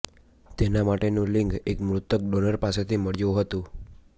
તેના માટેનું લિંગ એક મૃતક ડોનર પાસેથી મળ્યું હતું